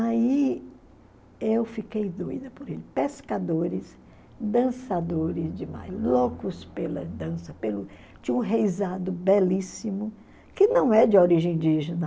Aí eu fiquei doida por ele, pescadores, dançadores demais, loucos pela dança, pelo tinha um reisado belíssimo, que não é de origem indígena,